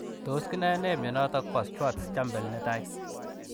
Tos kinae nee mionotok poo Schwartz Jampel netai ?